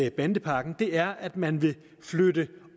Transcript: en bandepakke er at man vil flytte